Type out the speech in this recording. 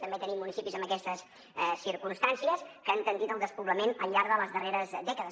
també tenim municipis amb aquestes circumstàncies que han tendit al despoblament al llarg de les darreres dècades